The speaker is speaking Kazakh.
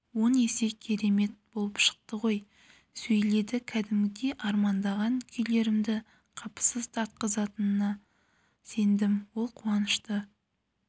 он есе керемет болып шықты ғой сөйледі кәдімгідей армандаған күйлерімді қапысыз тартқызатына сендім ол қуанышты